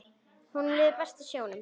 Honum liði best í sjónum.